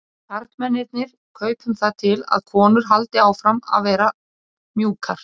Við karlmennirnir kaupum það til að konur haldi áfram að vera mjúkar.